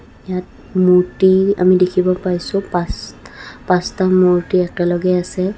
ইয়াত মূৰ্তি আমি দেখিব পাইছোঁ পাঁচটা মূৰ্তি একেলগে আছে.